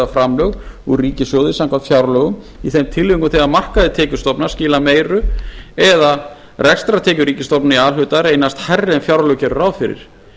framlög úr ríkissjóði samkvæmt fjárlögum í þeim tilvikum þegar markaðir tekjustofnar skila meiru eða rekstrartekjur ríkisstofnana í a hluta reynast hærri en fjárlög gerðu ráð fyrir